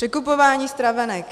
Překupování stravenek.